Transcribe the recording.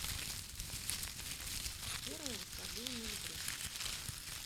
первое восхождение на эльбрус